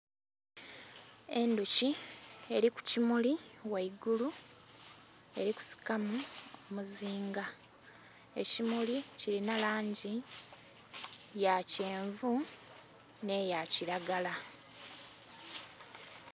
Endhuki eri ku kimuli ghaigulu eri kusikamu omuziinga ekimuli kilinha langi ya kyenvu nhe eya kilagala.